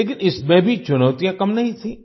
लेकिन इसमें भी चुनौतियां कम नहीं थीं